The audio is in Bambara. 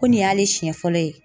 Ko nin y'ale siɲɛ fɔlɔ ye.